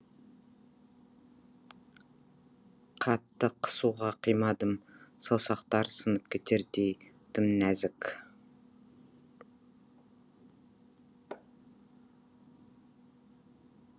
қатты қысуға қимадым саусақтары сынып кетердей тым нәзік